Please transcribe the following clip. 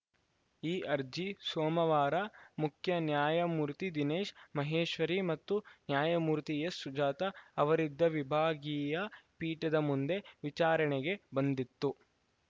ಈ ಅರ್ಜಿ ಸೋಮವಾರ ಮುಖ್ಯ ನ್ಯಾಯಮೂರ್ತಿ ದಿನೇಶ್‌ ಮಹೇಶ್ವರಿ ಮತ್ತು ನ್ಯಾಯಮೂರ್ತಿ ಎಸ್‌ಸುಜಾತ ಅವರಿದ್ದ ವಿಭಾಗೀಯ ಪೀಠದ ಮುಂದೆ ವಿಚಾರಣೆಗೆ ಬಂದಿತ್ತು